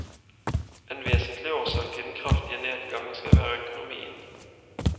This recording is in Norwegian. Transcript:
En vesentlig årsak til den kraftig nedgangen skal være økonomien.